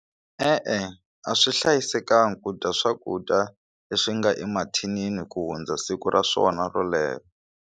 E-e, a swi hlayisekanga ku dya swakudya leswi nga emathinini ku hundza siku ra swona ro .